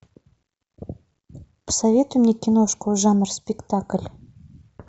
посоветуй мне киношку жанр спектакль